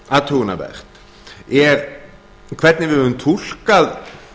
athugunarvert er hvernig við höfum túlkað